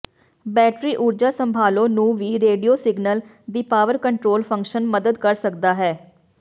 battery ਊਰਜਾ ਸੰਭਾਲੋ ਨੂੰ ਵੀ ਰੇਡੀਓ ਸਿਗਨਲ ਦੀ ਪਾਵਰ ਕੰਟਰੋਲ ਫੰਕਸ਼ਨ ਮਦਦ ਕਰ ਸਕਦਾ ਹੈ